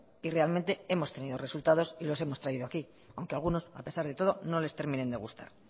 y realmente hemos tenido resultados y los hemos traído aquí aunque algunos a pesar de todo no les terminen de gustar